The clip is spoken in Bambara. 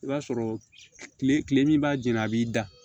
I b'a sɔrɔ kile min b'a jɛni a b'i da